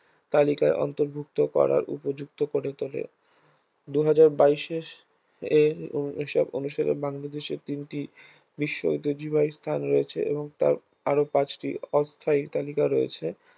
তালিকায় অন্তর্ভুক্ত করার উপযুক্ত করে তোলে দুই হাজার বাইশের এর হিসাব অনুসারে বাংলাদেশের তিনটি বিশ্ব ঐতিহ্যবাহী স্থান রয়েছে এবং তার আর পাঁচটি অস্থায়ী তালিকা রয়েছে